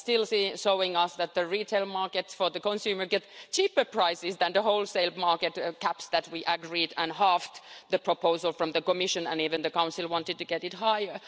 It still shows us that the retail markets for consumers get cheaper prices than the wholesale market caps that we agreed and halved the proposal from the Commission. Even the Council wanted to get it higher.